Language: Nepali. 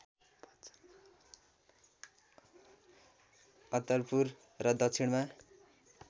अत्तरपुर र दक्षिणमा